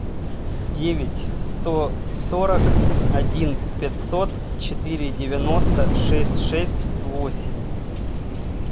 девять сто сорок один пятьсот четыре девяносто шесть шесть восемь